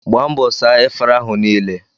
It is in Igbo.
Gbaa mbọ saa efere ahụ niile!